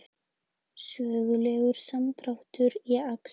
Sögulegur samdráttur í akstri